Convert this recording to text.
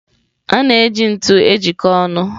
A na-eji ntu ejikọta ọnụ.